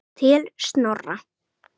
Til Snorra.